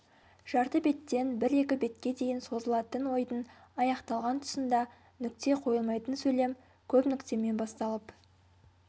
жарты беттен бір-екі бетке дейін созылатын ойдың аяқталған тұсында нүкте қойылмайтын сөйлем көп нүктемен басталып